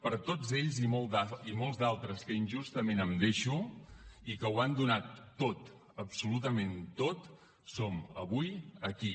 per tots ells i molts d’altres que injustament em deixo i que ho han donat tot absolutament tot som avui aquí